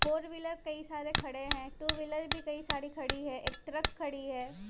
Four wheeler कई सारे खड़े हैं टू व्हीलर भी कई साड़ी खड़ी है एक ट्रक खड़ी है।